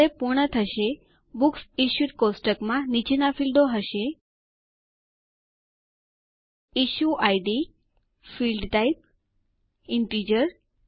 જ્યારે પૂર્ણ થશે બુક્સ ઇશ્યુડ કોષ્ટક માં નીચેના ફીલ્ડો હશે issue ID field type integer